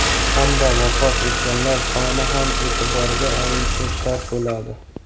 Hamda vafot etganlar soni ham e’tiborga olinishi shart bo‘ladi.